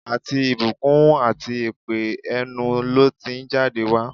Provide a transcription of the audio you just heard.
Àti ìbùkún àti èpè, ẹnu ló ti ń jáde wá.